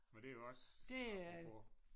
Men det er jo også apropos